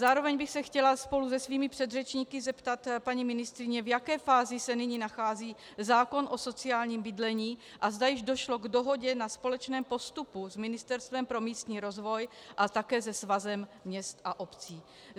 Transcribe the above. Zároveň bych se chtěla spolu se svými předřečníky zeptat paní ministryně, v jaké fázi se nyní nachází zákon o sociálním bydlení a zda již došlo k dohodě na společném postupu s Ministerstvem pro místní rozvoj a také se Svazem měst a obcí.